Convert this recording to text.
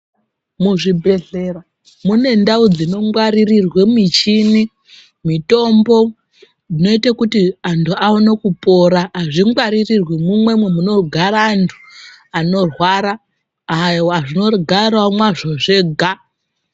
Muzvibhehlera mune ndau dzinongwaririrwe muchini mitombo inoite kuti antu aone kupora azvingwa rirwi mumwemo munogara antu anorwara zvogarawo mwazvo zvega